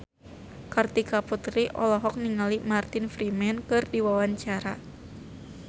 Kartika Putri olohok ningali Martin Freeman keur diwawancara